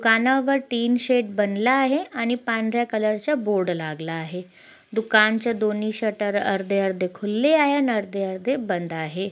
दुकानावर tin shed बनलं आहे आणि पांढर्‍या कलर च्या बोर्ड लागला आहे दुकान च्या दोन्ही शटर अर्धे-अर्धे खुलले आहे न अर्धे-अर्धे बंद आहे.